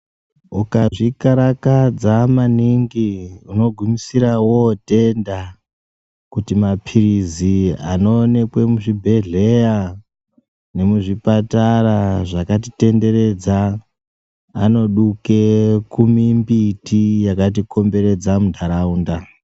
Ukazvikarakadza maningi unogumisira wotenda kuti mapilizi anoonekwe muzvibhehleya nemuzvipatara zvakatitenderedza anoduke kumimbiti yakatikomberedza munharaunda.